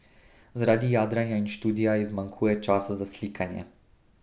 Zaradi jadranja in študija ji zmanjkuje časa za slikanje.